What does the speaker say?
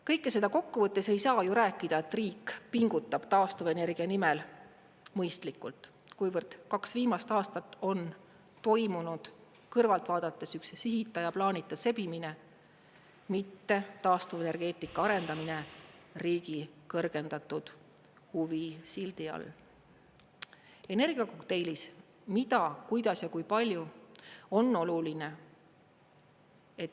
Kõike seda kokku võttes ei saa ju rääkida, et riik pingutab taastuvenergia nimel mõistlikult, kuivõrd kaks viimast aastat on toimunud kõrvalt vaadates üks sihita ja plaanita sebimine, mitte taastuvenergeetika arendamine riigi kõrgendatud huvi sildi all energiakokteilis mida, kuidas ja kui palju on oluline.